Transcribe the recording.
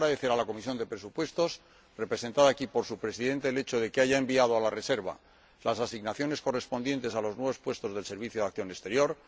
Quiero agradecer a la Comisión de Presupuestos, representada aquí por su presidente, el hecho de que haya enviado a la reserva las asignaciones correspondientes a los nuevos puestos del Servicio Europeo de Acción Exterior.